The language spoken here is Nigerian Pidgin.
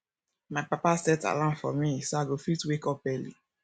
my papa set alarm for me so i go fit wake up early